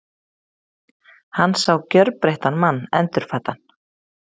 Hann sá gjörbreyttan mann, endurfæddan.